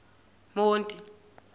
monti